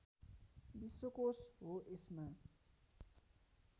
विश्वकोष हो यसमा